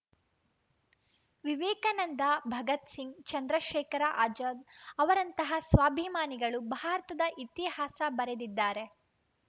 ವಿವೇಕಾನಂದ ಭಗತ್‌ಸಿಂಗ್‌ ಚಂದ್ರಶೇಖರ ಆಜಾದ್‌ ಅವರಂತಹ ಸ್ವಾಭಿಮಾನಿಗಳು ಭಾರತದ ಇತಿಹಾಸ ಬರೆದಿದ್ದಾರೆ